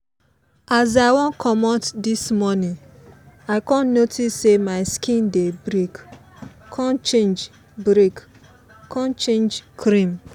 as i wan commot this morning i con notice say my skin dey break con change break con change cream.